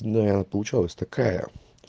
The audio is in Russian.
да и она получалась такая